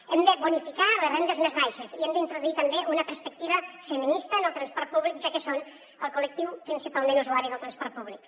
hem de bonificar les rendes més baixes i hem d’introduir també una perspectiva feminista en el transport públic ja que són el col·lectiu principalment usuari del transport públic